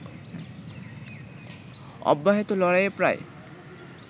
অব্যাহত লড়াইয়ে প্রায়